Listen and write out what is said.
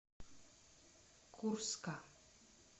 курска